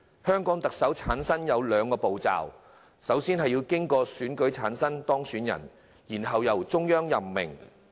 香港特首的產生過程分兩部分，首先經過選舉產生候任特首，然後由中央任命。